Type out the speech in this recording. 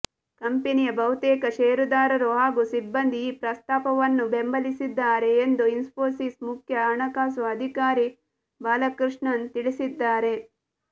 ಕಂಪನಿಯ ಬಹುತೇಕ ಷೇರುದಾರರು ಹಾಗೂ ಸಿಬ್ಬಂದಿ ಈ ಪ್ರಸ್ತಾಪವನ್ನು ಬೆಂಬಲಿಸಿದ್ದಾರೆ ಎಂದು ಇನ್ಫೋಸಿಸ್ ಮುಖ್ಯ ಹಣಕಾಸು ಅಧಿಕಾರಿ ಬಾಲಕೃಷ್ಣನ್ ತಿಳಿಸಿದ್ದಾರೆ